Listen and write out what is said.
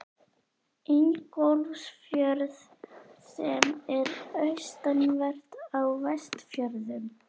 Ingólfsfjörð, sem er austanvert á Vestfjörðum.